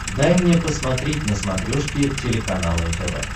дай мне посмотреть на смотрешке телеканал нтв